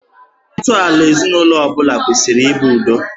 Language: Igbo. Ntọala ezinụlọ ọ bụla kwesịrị ị bụ udo